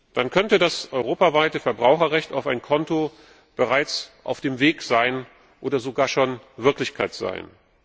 Dann könnte das europaweite Verbraucherrecht auf ein Konto bereits auf dem Weg oder sogar schon Wirklichkeit sein.